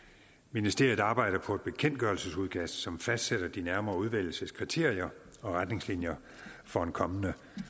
ministeriet arbejder på et bekendtgørelsesudkast som fastsætter de nærmere udvælgelseskriterier og retningslinjer for en kommende